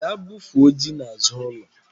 Gaa bufuo ji n'azụ ụlọ